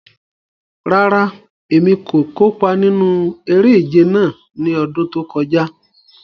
Rárá, Emi ko kopa ninu ere-ije náa ni ọdun to kọja